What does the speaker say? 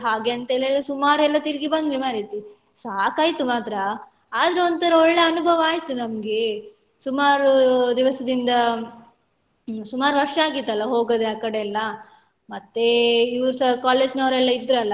ಹಾಗೆ ಅಂತೆಲ್ಲ ಸುಮಾರ್ ಎಲ್ಲ ತಿರ್ಗಿ ಬಂದ್ವಿ ಮಾರೈತಿ ಸಾಕಾಯ್ತು ಮಾತ್ರ ಆದ್ರೂ ಒಂತರ ಒಳ್ಳೆ ಅನುಭವ ಆಯ್ತು ನಮ್ಗೆ ಸುಮಾರ್ ದಿವಸದಿಂದ ಸುಮಾರ್ ವರ್ಷ ಆಗಿತ್ತು ಅಲ್ಲ ಹೋಗದೆ ಆ ಕಡೆ ಎಲ್ಲ ಮತ್ತೆ ಇವ್ರುಸ college ನವರೆಲ್ಲ ಇದ್ರಲ್ಲಾ.